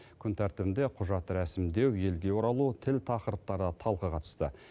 күн тәртібінде құжат рәсімдеу елге оралу тіл тақырыптары талқыға түсті